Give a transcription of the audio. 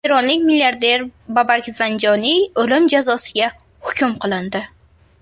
Eronlik milliarder Babak Zanjoniy o‘lim jazosiga hukm qilindi.